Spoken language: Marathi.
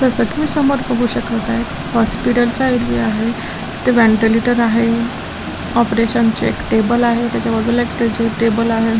जसं की समोर बघू शकत आहे हॉस्पिटल चा एरिया आहे तिथं व्हेंटिलेटर आहे ऑपरेशन चे एक टेबल आहे त्याच्या बाजूला त्याचे एक टेबल आहे.